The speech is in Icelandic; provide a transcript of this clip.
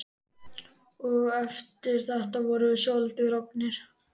Og eftir þetta vorum við svolítið roggnir.